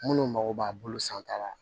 Minnu mago b'a bolo san ta la